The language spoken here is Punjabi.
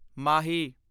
ਮਾਹੀ